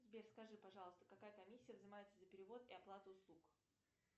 сбер скажи пожалуйста какая комиссия взимается за перевод и оплату услуг